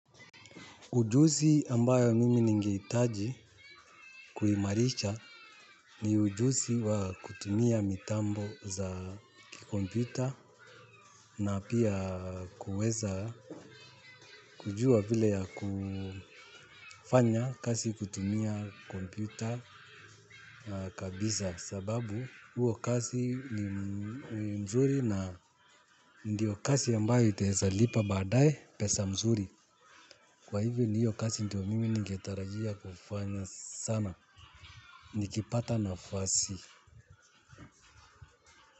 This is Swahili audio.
Ujusi ambayo mimi nige itaji kuimarisha ni ujusi wa kutumia mitambo za kikompyuta na pia kuweza kujua vile ya kufanya kasi kutumia kompyuta kabisa sababu huo kasi ni mzuri na ndiyo kasi ambayo itaezalipa badae pesa mzuri. Kwa hivyo ni hiyo kasi ndi wa mimi ningetarajia kufanya sana. Nikipata nafasi.